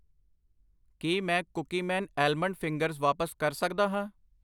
ਕੀ ਮੈਂ Cookie Man almond fingers ਵਾਪਸ ਕਰ ਸਕਦਾ ਹਾਂ?